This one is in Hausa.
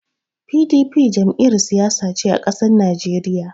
PDP Jam'iyar Siyasa ce a ƙasar Naijeriya